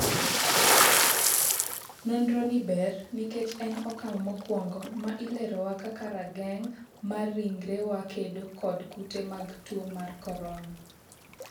nonro ni ber nikech en okang' mokwongo ma ilerowa kaka rageng' mar ringrewa kedo kod kute mag tuo mar korona